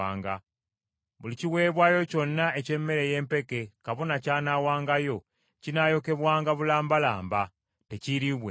Buli kiweebwayo kyonna eky’emmere ey’empeke kabona ky’anaawangayo kinaayokebwanga bulambalamba; tekiiriibwenga.”